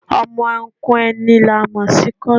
Ọmọ Ọnkú ẹni ni a mo si Kósìn